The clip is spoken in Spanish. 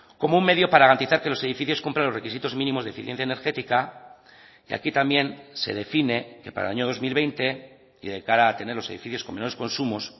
como un medio para garantizar que los edificios cumplan los requisitos mínimos de eficiencia energética y aquí también se define que para el año dos mil veinte y de cara a tener los edificios con menos consumos